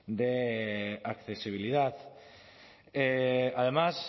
de accesibilidad además